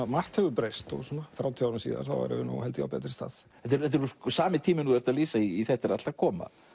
margt hefur breyst og svona þrjátíu árum síðar erum við held ég á betri stað þetta er sami tíminn og þú lýsir í þetta er allt að koma